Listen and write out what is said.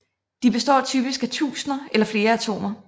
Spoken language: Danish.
De består typisk af tusinder eller flere atomer